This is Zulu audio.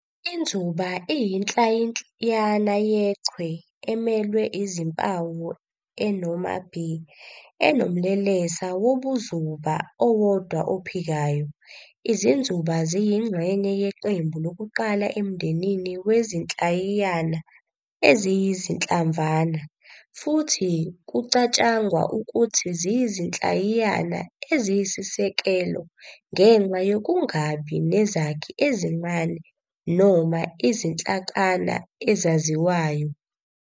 iNzuba iyinhlayiyana yechwe, emelwe izimpawu e noma β, enomlelesa wobuzuba owodwa ophikayo. Izinzuba ziyingxenye yeqembu lokuqala emndenini wezinhlayiyana eziyiZinhlamvwana, futhi kucatshangwa ukuthi ziyizinhlayiyana eziyisisekelo ngenxa yokungabi nezakhi ezincane noma izinhlakana ezaziwayo.